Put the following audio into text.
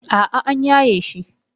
A'a an yaye shi.